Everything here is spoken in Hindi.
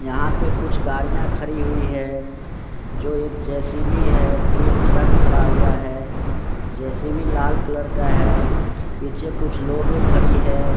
यहां पे कुछ गाड़िया खड़ी हुई है जो एक जेसीबी है तीन ट्रक खड़ा हुआ है जेसीबी लाल कलर का है पीछे कुछ लोग खड़ी है।